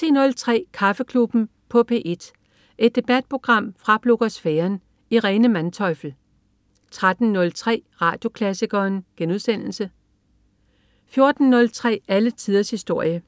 10.03 Kaffeklubben i P1. Et debatprogram fra blogosfæren. Irene Manteufel 13.03 Radioklassikeren* 14.03 Alle tiders historie